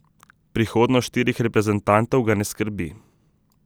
Prihodnost štirih reprezentantov ga ne skrbi.